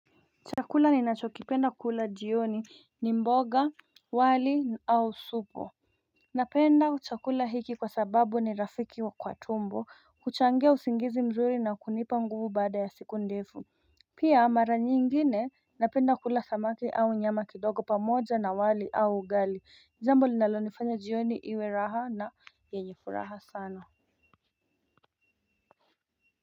Chakula ninachokipenda kula jioni ni mboga, wali au supu. Napenda chakula hiki kwa sababu ni rafiki wa kwa tumbo, huuchangia usingizi mzuri na kunipa nguvu bada ya siku ndefu. Pia mara nyingine napenda kula samaki au nyama kidogo pamoja na wali au ugali jambo linaloifanya jioni iwe raha na yenye furaha sana.